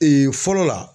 fɔlɔ la